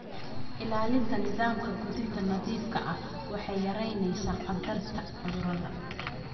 Ilaalinta nidaamka quudinta nadiifka ah waxay yaraynaysaa khatarta cudurada.